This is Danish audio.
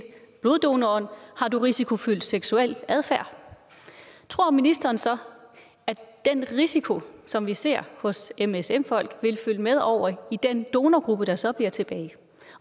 bloddonoren har du risikofyldt seksuel adfærd tror ministeren så at den risiko som vi ser hos msm folk vil følge med over i den donorgruppe der så bliver tilbage